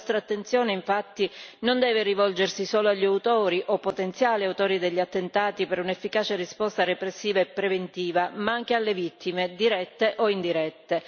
La nostra attenzione infatti non deve rivolgersi solo agli autori o potenziali autori degli attentati per un'efficace risposta repressiva e preventiva, ma anche alle vittime, dirette o indirette.